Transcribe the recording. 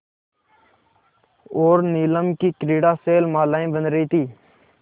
और नीलम की क्रीड़ा शैलमालाएँ बन रही थीं